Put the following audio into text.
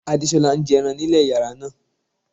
Adéṣọla n jẹ́ èrán èhòró ní ilẹ̀ yàrá náà.